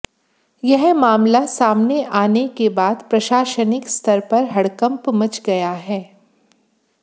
यह मामला सामने आने के बाद प्रशासनिक स्तर पर हड़कंप मच गया है